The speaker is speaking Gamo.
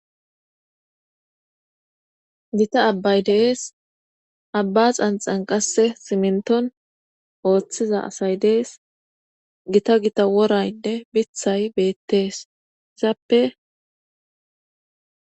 gita abbay dees abba xanxan qasse simnton ooththiza asay dees gita gita woraynne bithay beettees izaappe